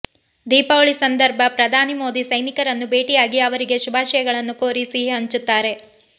ದೀಪಾವಳಿ ಸಂದರ್ಭ ಪ್ರಧಾನಿ ಮೋದಿ ಸೈನಿಕರನ್ನು ಭೇಟಿಯಾಗಿ ಅವರಿಗೆ ಶುಭಾಶಯಗಳನ್ನು ಕೋರಿ ಸಿಹಿ ಹಂಚುತ್ತಾರೆ